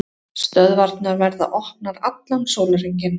Stöðvarnar verða opnar allan sólarhringinn